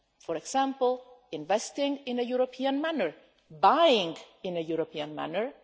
For example, investing in a European manner or buying in a European manner.